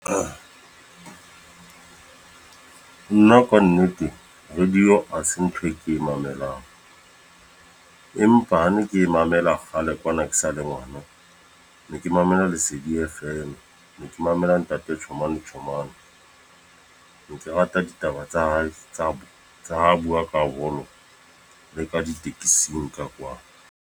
Nna ka nnete radio ha se ntho e ke e mamelang. Empa ne ke e mamela kgale kwana ke sa le ngwana. Ne ke mamela lesedi F_M. Ne ke mamela ntate Chomane Chomane. Ne ke rata ditaba tsa hae, tsa tsa ha bua ka le ka di-taxing ka kwana.